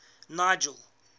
nigel